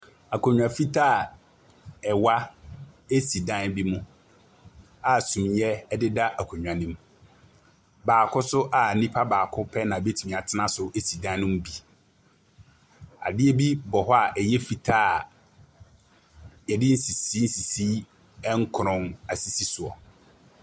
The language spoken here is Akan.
Akonnwa fitaa a ɛwa esi dan bi mu a sumiiɛ deda so si dan no mu. Baako so a npa baako na betumi atena so na si dan no mu bi. Adeɛ bi bɔ hɔ a ɛyɛ fitaa a yɛde nsisii nsisii nkorɔn asisi so.